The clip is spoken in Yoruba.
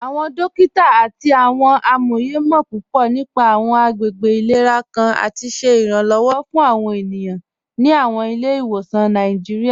Awọn dòkita àti awọn amóyè mọ̀ púpọ̀ nípà awọn àgbègbè ilẹ̀rà kàn àti ṣẹ iranlọ́wọ̀ fún awọn ènìyàn ní awọn ilẹ̀-ìwọsan Nàìjíríà.